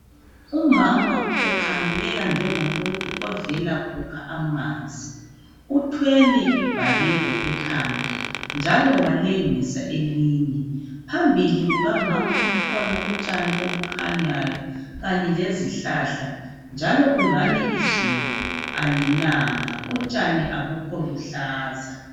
Umama ukhangeleka njengomuntu ovela kukha amanzi , uthwele ibhakede ekhanda njalo walengisa elinye , phambili kukamama kukhona utshani obukhanyayo kanye lezihlahla njalo kungani izulu alinanga utshani abukho luhlaza